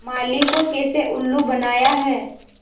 माली को कैसे उल्लू बनाया है